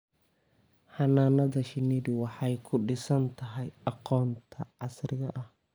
Xannaanada shinnidu waxay ku dhisan tahay aqoonta casriga ah.